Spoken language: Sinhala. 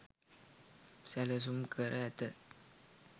සැලසුම් කර ඇත